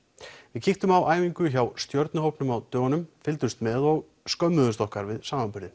við kíktum á æfingu hjá á dögunum fylgdumst með og skömmuðumst okkar við samanburðinn